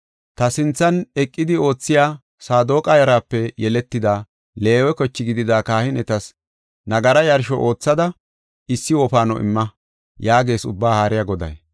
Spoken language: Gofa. Ta sinthan eqidi oothiya Saadoqa yaraape yeletida Leewe koche gidida kahinetas nagara yarsho oothada issi wofaano imma” yaagees Ubbaa Haariya Goday.